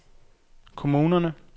kommunerne